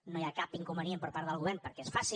no hi ha cap inconvenient per part del govern perquè es faci